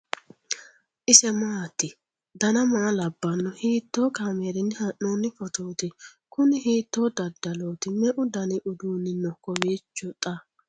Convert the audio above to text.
ise maati ? dana maa labbanno ? hiitoo kaameerinni haa'noonni footooti ? kuni hiitoo dadalooti ? me''u danni uduunni no kowiicho xa?